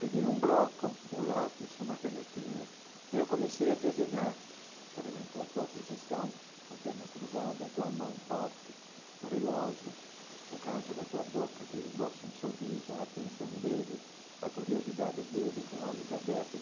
Peguei um bloco, um lápis, uma canetinha, e eu comecei a desenhar, por exemplo, a tua posição, a perna cruzada, a tua mão forte, o relógio, o canto da tua boca, que esboça um sorriso, a atenção dele, a curiosidade dele com olhos abertos.